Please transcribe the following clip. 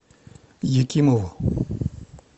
якимову